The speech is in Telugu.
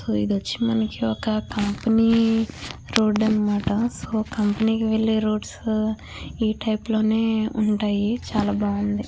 ఇది వచ్చి మనకి ఒక కంపెనీ రోడ్ అన్నమాట సొ కంపెనీకి వెళ్లే రోడ్స్ మనకి ఈ టైపు లోనే ఉంటాయి చాలా బాగుంది.